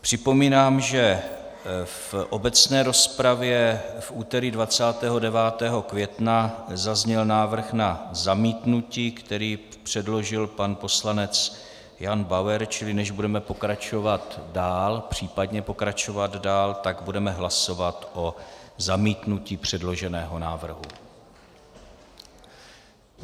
Připomínám, že v obecné rozpravě v úterý 29. května zazněl návrh na zamítnutí, který předložil pan poslanec Jan Bauer, čili než budeme pokračovat dál, případně pokračovat dál, tak budeme hlasovat o zamítnutí předloženého návrhu.